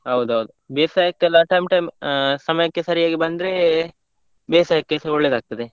ಹೌದೌದ್ ಬೇಸಾಯಕ್ಕೆಲ್ಲ time time ಅಹ್ ಸಮಯಕ್ಕೆ ಸರಿಯಾಗಿ ಬಂದ್ರೆ ಬೇಸಾಯಕ್ಕೆಸ ಒಳ್ಳೇದಾಗ್ತದೆ.